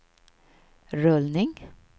rullning